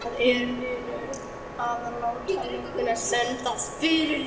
Það er munur að láta lögguna sendast fyrir sig.